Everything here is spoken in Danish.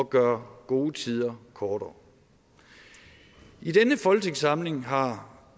gøre gode tider kortere i denne folketingssamling har